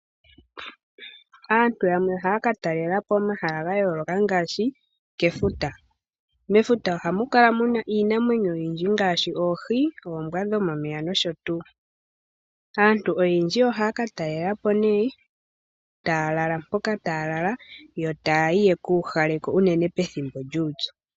Aantu yamwe ohaya ka talela po omahala gayooloka ngaashi kefuta. Mefuta ohamu kala muna iinamwenyo oyindji ngaashi oohi, oombwa dhomomeya nosho tuu. Aantu oyendji ohaya ka talelapo nee, taya tala mpoka taya lala, yo taya yi yekuuhale ko unene pethimbo lyuupyu.